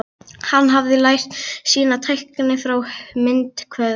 Hann hafði lært sína tækni hjá myndhöggvaranum